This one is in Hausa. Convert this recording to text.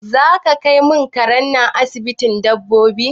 Zaka kai mun karen nan asibitin dabbobi?